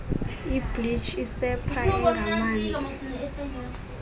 ibleach isepha engamanzi